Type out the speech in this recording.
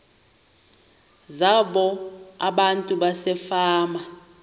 zabo abantu basefama